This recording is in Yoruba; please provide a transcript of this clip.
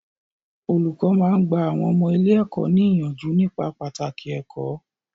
Olùkọ́ máa ń gba àwọn ọmọ ilé-ẹ̀kọ́ ní ìyànjú nípa pàtàkì ẹ̀kó.